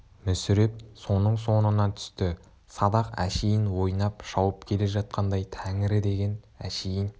мүсіреп соның соңына түсті садақ әшейін ойнап шауып келе жатқандай тәңірі деген әшейін